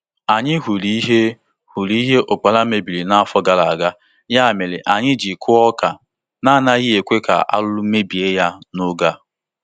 Anyị hụrụ ihe hụrụ ihe ụkpara mebiri n'afọ gara aga, ya mere anyị ji kuo ọka na-anaghị ekwe ka arụrụ mebie ya n'oge a.